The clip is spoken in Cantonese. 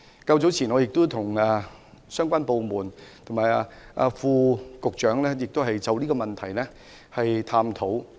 較早時，我曾與相關部門及副局長探討這個問題。